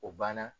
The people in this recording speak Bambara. O banna